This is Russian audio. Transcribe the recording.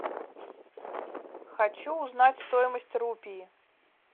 хочу узнать стоимость рупии